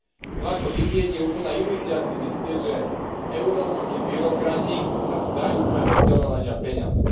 No ako vidieť, je úplná ilúzia si myslieť, že európski byrokrati sa vzdajú prerozdeľovania peňazí.